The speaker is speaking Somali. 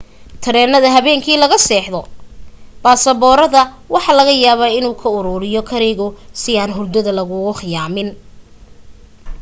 tareenada habeenkii laga seexdo basaboorada waxa laga yaaba inuu ka aruriyo karigu si aan hurdada laguu khiyaamin